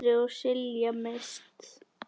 Sindri og Silja Mist.